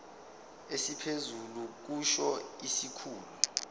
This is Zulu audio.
esiphezulu kusho isikhulu